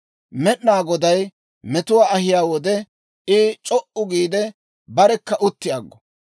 Med'inaa Goday metuwaa ahiyaa wode, I c'o"u giide, barekka utti aggo.